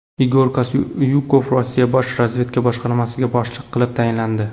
Igor Kostyukov Rossiya bosh razvedka boshqarmasiga boshliq qilib tayinlandi.